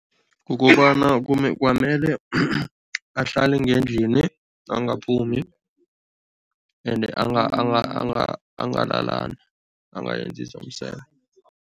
Kukobana kwamele ahlale ngendlini, angaphumi ende angalalani, angayenzi zomseme.